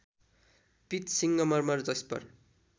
पीत सिङ्गमर्मर जैस्पर